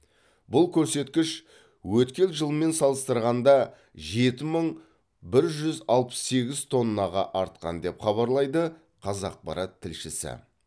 бұл көрсеткіш өткен жылмен салыстырғанда жеті мың бір жүз алпыс сегіз тоннаға артқан деп хабарлайды қазақпарат тілшісі